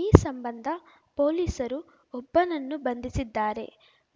ಈ ಸಂಬಂಧ ಪೊಲೀಸರು ಒಬ್ಬನನ್ನು ಬಂಧಿಸಿದ್ದಾರೆ